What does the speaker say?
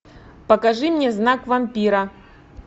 покажи мне знак вампира